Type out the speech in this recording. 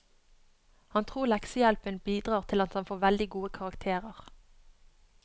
Han tror leksehjelpen bidrar til at han får veldig gode karakterer.